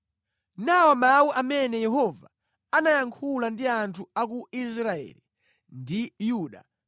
Nawa mawu amene Yehova anayankhula ndi anthu a ku Israeli ndi Yuda: